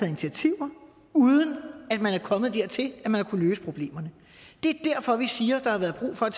initiativer uden at man er kommet dertil man har kunnet løse problemerne det er derfor vi siger at der har været brug for at